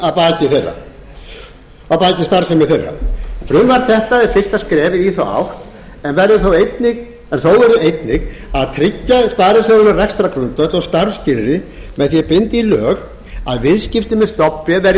að baki starfsemi þeirra frumvarp þetta er fyrsta skrefið í þá átt en þó verður einnig að tryggja sparisjóðunum rekstrargrundvöll og starfsskilyrði með því að binda í lög að viðskipti með stofnbréf verði